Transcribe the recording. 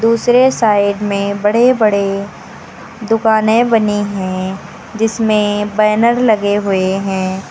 दूसरे साइड में बड़े बड़े दुकानें बनी हैं जिसमें बैनर लगे हुए हैं।